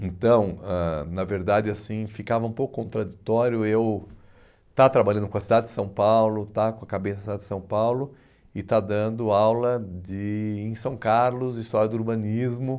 Então, ãh na verdade, assim, ficava um pouco contraditório eu estar trabalhando com a cidade de São Paulo, estar com a cabeça da cidade de São Paulo e estar dando aula de em São Carlos, história do urbanismo.